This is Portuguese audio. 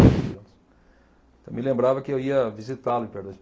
onze anos. Então me lembrava que eu ia visitá-lo em Perdões.